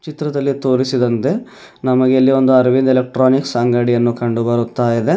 ಚಿತ್ರದಲ್ಲಿ ತೋರಿಸಿದಂತೆ ನಮಗೆ ಇಲ್ಲಿ ಒಂದು ಅರವಿಂದ್ ಎಲೆಕ್ಟ್ರಾನಿಕ್ಸ್ ಅಂಗಡಿಯನ್ನು ಕಂಡು ಬರುತ್ತಾ ಇದೆ.